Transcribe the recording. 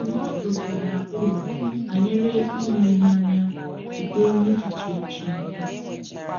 Ndụmọdụ bara uru banyere ile ihe anya site n’echiche Chineke